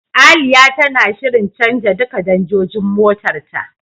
Aliya tana shirin canja duka danjojin motar ta.